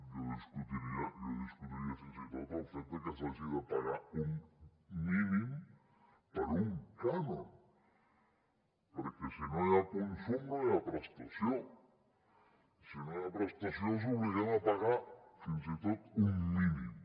jo discutiria fins i tot el fet de que s’hagi de pagar un mínim per un cànon perquè si no hi ha consum no hi ha prestació i si no hi ha prestació els obliguem a pagar fins i tot un mínim